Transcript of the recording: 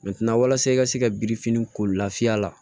walasa i ka se ka biriki ko lafiya la